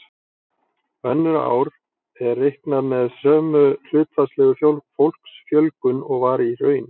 Önnur ár er reiknað með sömu hlutfallslegu fólksfjölgun og var í raun.